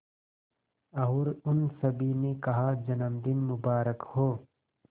और उन सभी ने कहा जन्मदिन मुबारक हो